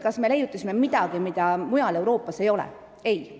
Kas me leiutasime midagi, mida mujal Euroopas ei ole?